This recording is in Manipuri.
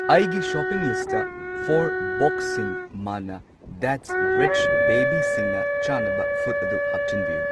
ꯑꯩꯒꯤ ꯁꯣꯄꯤꯡ ꯂꯤꯁꯇ ꯐꯣꯔ ꯕꯣꯛꯁꯁꯤꯡ ꯃꯥꯟꯅ ꯗꯦꯠꯁ ꯔꯤꯆ ꯕꯦꯕꯤꯁꯤꯡꯅ ꯆꯥꯅꯕ ꯐꯨꯗ ꯑꯗꯨ ꯍꯥꯞꯆꯤꯟꯕꯤꯌꯨ꯫